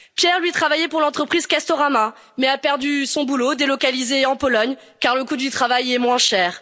Pierre, lui, travaillait pour l'entreprise Castorama, mais a perdu son boulot, délocalisé en Pologne, car le coût du travail y est moins